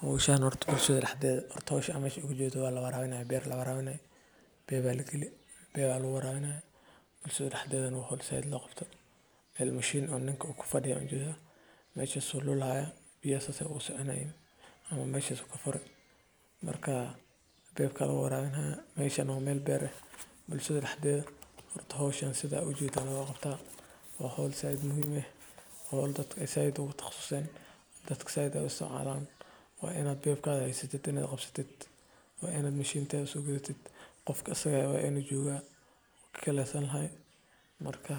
Hawshan horta bulshada dhexdeeda, horta hawshan meeshaan aad uga jeedo waa beer la waraabinayo. Pipe baa la geliyey oo pipe ayaa lagu waraabinayaa. Bulshada dhexdeedana waa hawl si weyn loogu qabto. Meel machine uu ninka ku fadhiyo ayaan u jeedaa meeshaas oo loo lacayo biyaha, meeshaas ayey ka soconayaan ama meeshaas ka furan. Marka beerta ayaa lagu waraabinayaa. Meeshaan waa meel beer ah. Bulshada dhexdeeda horta hawshan sidaan u jeedaa ayaa loo qabtaa. Waa hawl si weyn muhiim ugu ah oo in dadka si weyn ugu taqasustaan, oo dadku si weyn u isticmaalaan. Waa inaad pipe-ka haysato, la qabsato, waa inaad machinekeeda soo gadato. Qofka isaga ahna waa inuu jooga, kii kale ayaa lahaa. Marka